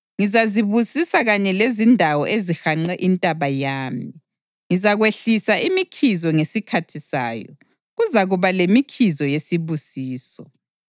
Ngizazibusisa kanye lezindawo ezihanqe intaba yami. Ngizakwehlisa imikhizo ngesikhathi sayo; kuzakuba lemikhizo yesibusiso.